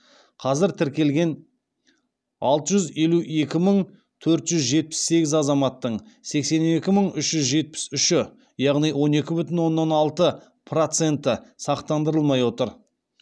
қазір тіркелген алты жүз елу екі мың төрт жүз жетпіс сегіз азаматтың сексен екі мың үш жүз жетпіс үші яғни он екі бүтін оннан алты проценті сақтандырылмай отыр